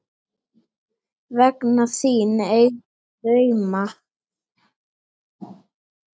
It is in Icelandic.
Vegna þín eigum við drauma.